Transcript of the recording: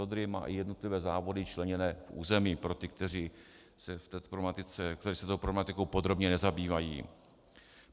Odry má i jednotlivé závody členěné v území, pro ty, kteří se touto problematikou podrobně nezabývají.